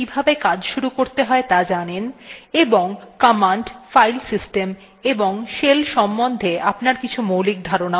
আমরা ধরে নিচ্ছি যে আপনি linux operating systemswe কিভাবে কাজ শুরু করতে হয় ত়া জানেন এবং commands file systems এবং শেলের সম্বন্ধে আপনার কিছু মৌলিক ধারনাও রয়েছে